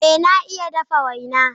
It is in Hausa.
Ee, na iya dafa waina.